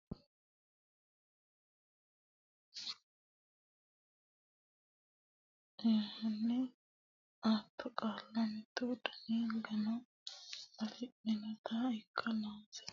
Egennaa misa Hasi nanni qaalla fidalsate shotte ba annonsa heedhuro Roore hekki yitanno qaalla uyinsa aatto qaalla mittu dani gano afidhinota ikka noonsa.